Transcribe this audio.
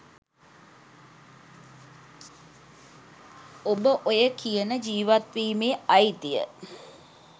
ඔබ ඔය කියන ජීවත් වීමේ අයිතිය